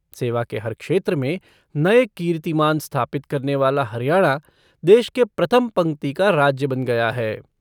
सेवा के हर क्षेत्र में नये कीर्तिमान स्थापित करने वाला हरियाणा, देश के प्रथम पंक्ति का राज्य बन गया है।